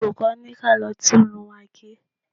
Olùkọ́ ní kí á lọ tún irun wa gẹ̀.